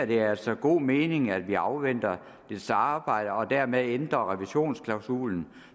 det altså god mening at vi afventer dets arbejde og dermed ændrer revisionsklausulen